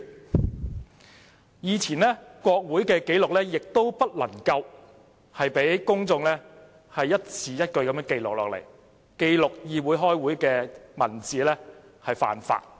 在以前，公眾不能一字一句記錄國會的紀錄，記錄議會開會的文字是犯法的。